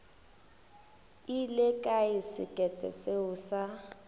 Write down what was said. ile kae sekete seo sa